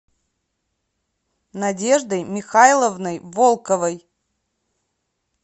надеждой михайловной волковой